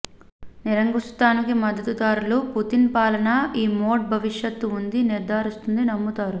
నిరంకుశత్వానికి మద్దతుదారులు పుతిన్ పాలన ఈ మోడ్ భవిష్యత్తు ఉంది నిర్ధారిస్తుంది నమ్ముతారు